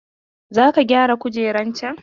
Zo ka gyara kujeran can!